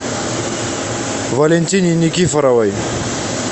валентине никифоровой